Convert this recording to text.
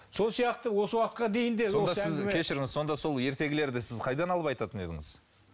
сол сияқты осы уақытқа дейін де сонда сіз кешіріңіз сонда сол ертегілерді сіз қайдан алып айтатын едіңіз